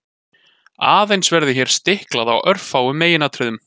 Aðeins verður hér stiklað á örfáum meginatriðum.